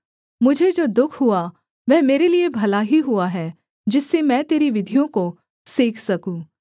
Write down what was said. मुझे जो दुःख हुआ वह मेरे लिये भला ही हुआ है जिससे मैं तेरी विधियों को सीख सकूँ